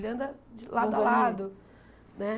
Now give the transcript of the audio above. Ele anda de lado a lado, né?